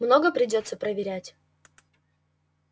много придётся проверять